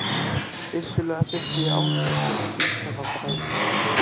Vissulega þurfti átak til að slíta þá þræði.